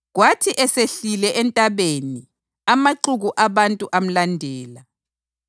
Kwathi esehlile entabeni amaxuku abantu amlandela.